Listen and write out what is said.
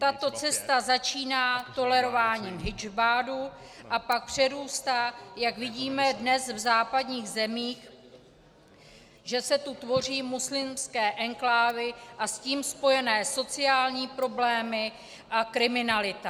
Tato cesta začíná tolerováním hidžábu a pak přerůstá, jak vidíme dnes v západních zemích, že se tu tvoří muslimské enklávy a s tím spojené sociální problémy a kriminalita.